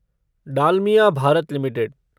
Dalmia Bharat limited